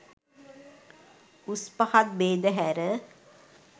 උස් පහත් භේද හැර